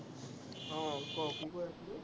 আহ ক কৈ আছিলি?